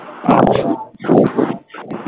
আচ্ছা